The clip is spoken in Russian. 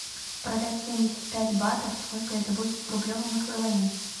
продать семьдесят пять батов сколько это будет в рублевом эквиваленте